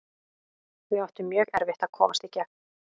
Við áttum mjög erfitt að komast í gegn.